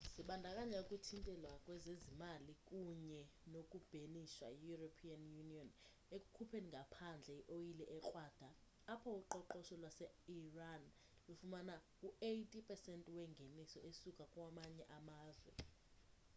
zibandakanya ukuthintelwa kwezezimali kunye noku bhenishwa yi-european union ekukhupheni ngaphandle i-oyile ekrwada apho uqoqosho lwaseiran lufumana u-80% wengeniso esuka kumanye amazwe